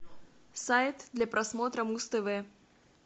сайт для просмотра муз тв